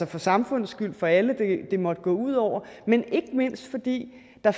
for samfundets skyld og for alle det måtte gå ud over men ikke mindst fordi der